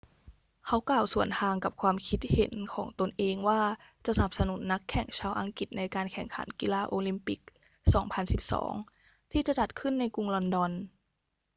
เขากล่าวสวนทางกับความคิดเห็นของตนเองว่าจะสนับสนุนนักแข่งชาวอังกฤษในการแข่งขันกีฬาโอลิมปิก 2012 ที่จะจัดขึ้นในกรุงลอนดอน